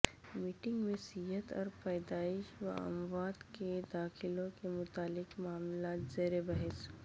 meeting میں صحت اور پیدائش و اموات کے داخلوں کے متعلق معاملات زیر بحث